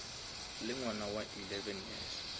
le ngwana wa eleven years